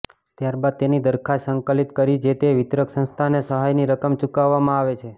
ત્યારબાદ તેની દરખાસ્ત સંકલિત કરી જે તે વિતરક સંસ્થાને સહાયની રકમ ચુકવવામાં આવે છે